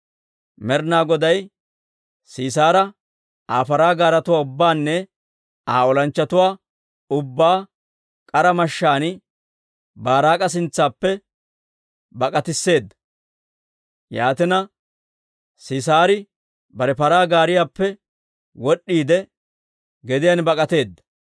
Med'inaa Goday Sisaara, Aa paraa gaaretuwaa ubbaanne Aa olanchchatuwaa ubbaa k'ara mashshaan Baaraak'a sintsaappe bak'atisseeda. Yaatina, Sisaari bare paraa gaariyaappe wod'd'iide, gediyaan bak'ateedda.